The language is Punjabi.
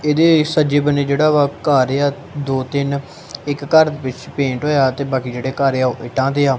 ਇਹਦੇ ਸੱਜੇ ਬੰਨੇ ਜਿਹੜਾ ਵਾ ਘਰ ਏ ਆ ਦੋ ਤਿੰਨ ਇੱਕ ਘਰ ਵਿੱਚ ਪੇਂਟ ਹੋਇਆ ਤੇ ਬਾਕੀ ਜਿਹੜੇ ਘਰ ਏ ਆ ਉਹ ਇਟਾਂ ਦੇ ਆ।